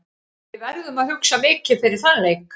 Við verðum að hugsa mikið fyrir þann leik.